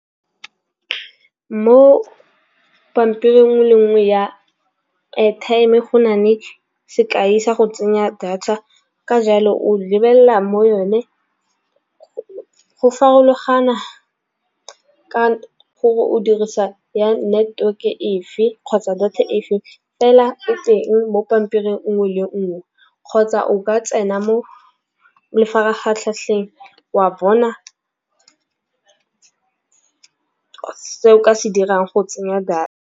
Mo pampiring e le nngwe ya airtime go nale sekai sa go tsenya data. Ka jalo o lebelela mo yone go farologana ka gore o dirisa ya network e fa kgotsa data e fe. Fela e teng mo pampiring nngwe le nngwe kgotsa o ka tsena mo mafaratlhatlheng wa bona se o ka se dirang go tsenya data.